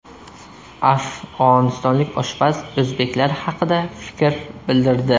Afg‘onistonlik oshpaz o‘zbeklar haqida fikr bildirdi.